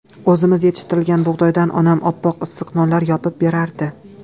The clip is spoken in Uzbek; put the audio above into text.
O‘zimiz yetishtirgan bug‘doydan onam oppoq issiq nonlar yopib berardi.